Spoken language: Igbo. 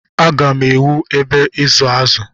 Agá m ewu ebe ịzụ azụ.